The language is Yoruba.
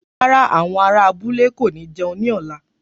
Rárá, àwọn ará abúlé kò ní jẹun ní ọ̀la